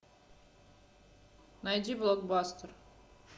найди блокбастер